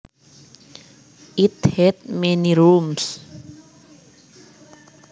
It had many rooms